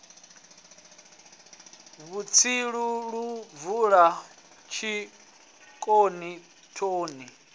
vhutsilu lu bvula tshitoni thoni